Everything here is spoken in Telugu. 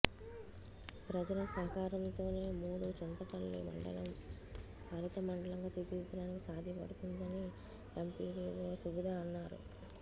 ప్రజల సహకారంతోనే మూఢుచింతలపల్లి మండలం హరిత మండలంగా తీర్చిదిద్దడానికి సాధ్యపడుతుందని ఎంపీడీఓ సువిధా అన్నారు